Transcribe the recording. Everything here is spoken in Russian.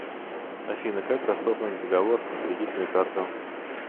афина как расторгнуть договор на кредитную карту